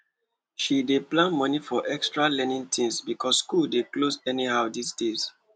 she dey plan money for extra learning things because school dey close anyhow these days